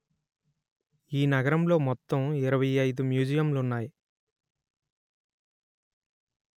ఈ నగరంలో మొత్తం ఇరవై అయిదు మ్యూజియంలు ఉన్నాయి